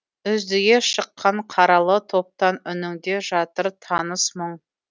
үздіге шыққан қаралы топтан үніңде жатыр таныс мұң